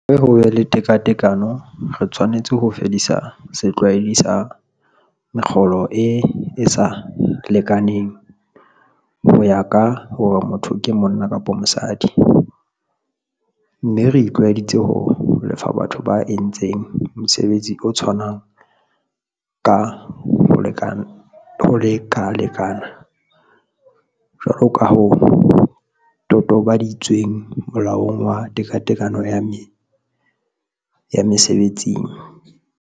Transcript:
Hore ho be le tekatekano re tshwanetse ho fedisa setlwaedi sa mekgolo e e sa lekalekaneng ho ya ka hore motho ke monna kapa mosadi, mme re itlwaetse ho lefa batho ba entseng mosebetsi o tshwanang ka ho lekalekana jwalo ka ho totobaditswe Molaong wa Tekatekano ya Mese betsing.